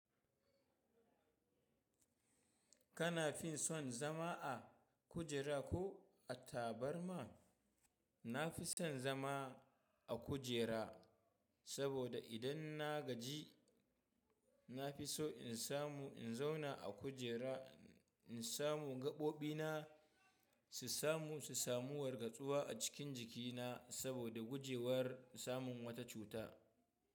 Kana fin son zama a kujera ko a tabarma? Na fi son zama a kujera saboda idan na gaji, na fi so in samu in zauna a kujera, in samu gaɓoɓina su samu, su samu wargatsuwa a cikin jikina saboda gujewar samun wata cuta.